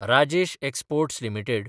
Rajesh exports limited